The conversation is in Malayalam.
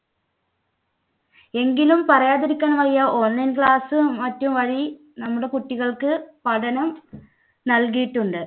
എങ്കിലും പറയാതിരിക്കാൻ വയ്യ online class ഉം മറ്റും വഴി നമ്മുടെ കുട്ടികൾക്ക് പഠനം നൽകിയിട്ടുണ്ട്.